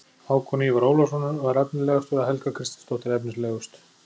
Hákon Ívar Ólafsson var efnilegastur og Helga Kristinsdóttir efnilegust.